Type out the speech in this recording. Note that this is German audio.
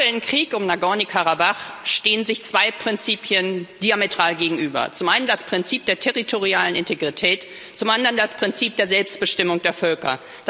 Im aktuellen Krieg um Nagorny Karabach stehen sich zwei Prinzipien diametral gegenüber zum einen das Prinzip der territorialen Integrität, zum anderen das Prinzip der Selbstbestimmung der Völker.